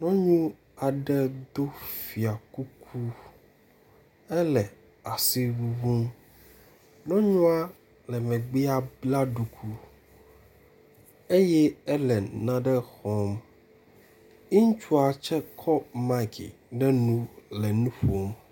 Nyɔnu aɖe do fiakuku ele asi ŋuŋum. Nyɔnua le megbea bla ɖuku eye ele nane xɔm. Ŋutsua tse kɔ mike ɖe nu le nu ƒom.